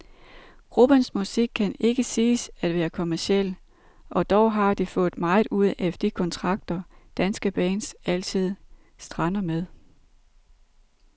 Gruppens musik kan ikke siges at være kommerciel, og dog har de fået meget ud af de kontrakter, danske bands altid strander med.